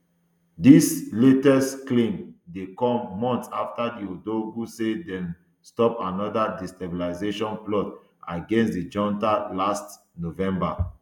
dis latest claim dey come months afta ouagadougou say dem stop anoda destabilisation plot against di junta last november